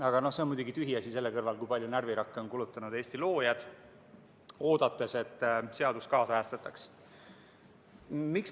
Aga see on muidugi tühiasi selle kõrval, kui palju närvirakke on kulutanud Eesti loojad, oodates, et seda seadust kaasajastatakse.